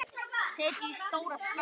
Setjið í stóra skál.